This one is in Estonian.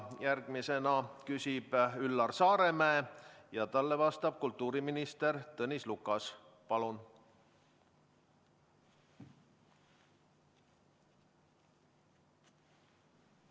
Järgmisena küsib Üllar Saaremäe ja talle vastab kultuuriminister Tõnis Lukas.